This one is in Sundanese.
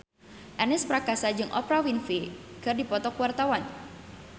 Ernest Prakasa jeung Oprah Winfrey keur dipoto ku wartawan